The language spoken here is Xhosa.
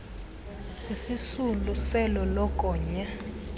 sisisulu selo lokonya